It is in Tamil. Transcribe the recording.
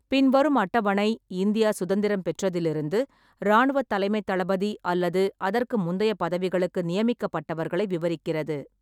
பின்வரும் அட்டவணை, இந்தியா சுதந்திரம் பெற்றதிலிருந்து இராணுவத் தலைமைத் தளபதி அல்லது அதற்கு முந்தைய பதவிகளுக்கு நியமிக்கப்பட்டவர்களை விவரிக்கிறது.